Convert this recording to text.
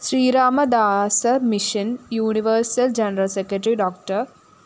ശ്രീരാമദാസമിഷന്‍ universal general secretary Dr